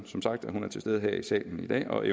som sagt at hun er til stede her i salen i dag og